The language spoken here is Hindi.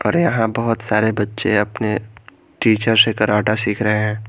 और यहां बहोत सारे बच्चे अपने टीचर से कराटा सिख रहे है।